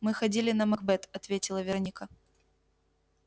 мы ходили на макбет ответила вероника